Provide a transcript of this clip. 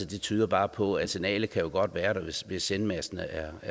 det tyder bare på at signalet godt kan være der hvis sendemasten er